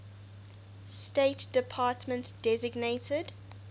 state department designated